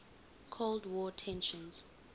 cold war tensions